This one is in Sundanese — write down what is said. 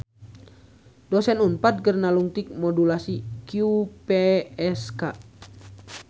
Dosen Unpad keur nalungtik modulasi QPSK